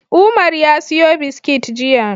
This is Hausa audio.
Umar ya siyo biskit jiya.